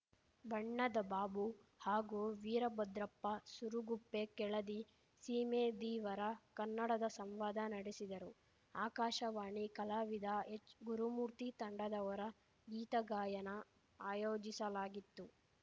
ಬಣ್ಣದ ಬಾಬು ಹಾಗೂ ವೀರಭದ್ರಪ್ಪ ಸೂರಗುಪ್ಪೆ ಕೆಳದಿ ಸೀಮೆ ದೀವರ ಕನ್ನಡದ ಸಂವಾದ ನಡೆಸಿದರು ಆಕಾಶವಾಣಿ ಕಲಾವಿದ ಎಚ್‌ಗುರುಮೂರ್ತಿ ತಂಡದವರ ಗೀತಗಾಯನ ಆಯೋಜಿಸಲಾಗಿತ್ತು